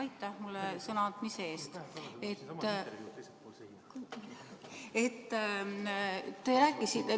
Aitäh mulle sõna andmise eest!